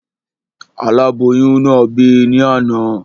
Aláboyún náà bì ní àná